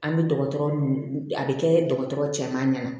An bɛ dɔgɔtɔrɔ nun a bɛ kɛ dɔgɔtɔrɔ cɛman ɲɛna